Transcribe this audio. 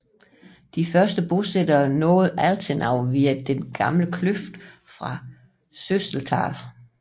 De første bosættere nåede Altenau via en gammel kløft fra Sösetal